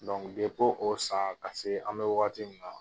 depo o san ka se an bɛ wagati min na